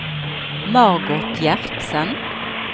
Margot Gjertsen